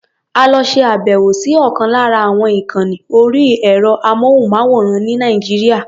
A lọ ṣe àbẹ̀wò sí ọ̀kan lára àwọn ìkànni orí ẹ̀rọ-amóhùnmáwòrán ní Nàìjíríà.